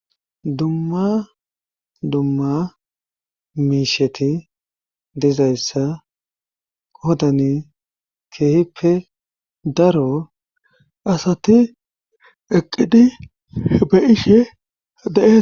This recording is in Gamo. dumma dumma miisheti dizayssa qodani keehippe daro asati eqqidi be'ishe de'etes